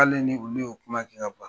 K'ale ni olu yɛ kuma kɛ ka ban